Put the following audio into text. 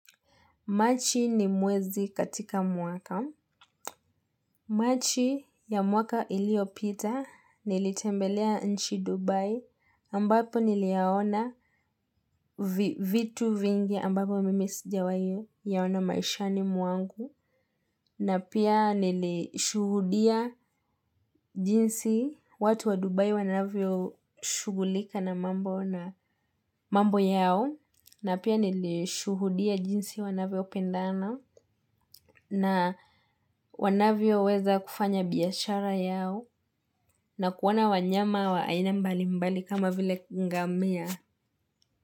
Machi ni mwezi katika mwaka. Machi ya mwaka iliopita nilitembelea nchi Dubai ambapo niliyaona vitu vingi ambapo mimi sijawahi yaona maishani mwangu. Na pia nilishuhudia jinsi watu wa Dubai wanavyoshughulika na mambo yao. Na pia nilishuhudia jinsi wanavyopendana na wanavyoweza kufanya biashara yao na kuwaona wanyama wa aina mbalimbali kama vile ngamia.